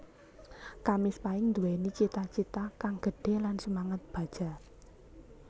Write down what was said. Kamis Pahing Nduwéni cita cita kang gedhe lan semangat baja